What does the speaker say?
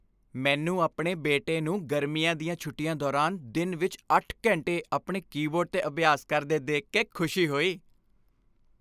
ਮੈਨੂੰ ਆਪਣੇ ਬੇਟੇ ਨੂੰ ਗਰਮੀਆਂ ਦੀਆਂ ਛੁੱਟੀਆਂ ਦੌਰਾਨ ਦਿਨ ਵਿੱਚ 8 ਘੰਟੇ ਆਪਣੇ ਕੀਬੋਰਡ 'ਤੇ ਅਭਿਆਸ ਕਰਦੇ ਦੇਖ ਕੇ ਖੁਸ਼ੀ ਹੋਈ।